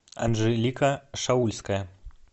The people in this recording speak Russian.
анжелика шаульская